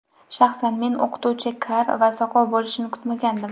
Shaxsan men o‘qituvchi kar va soqov bo‘lishini kutmagandim.